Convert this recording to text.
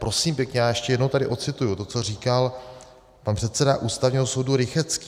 Prosím pěkně, já ještě jednou tady ocituji to, co říkal pan předseda Ústavního soudu Rychetský.